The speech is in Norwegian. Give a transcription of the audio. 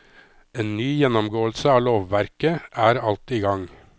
En ny gjennomgåelse av lovverket er alt i gang.